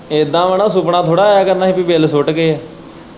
ਏਦਾਂ ਹੈ ਨਾ ਸੁਪਨਾ ਥੋੜਾ ਆਇਆ ਕਰਨਾ ਪਈ ਬਿਲ ਸੁੱਟ ਗਏ ਹੈ।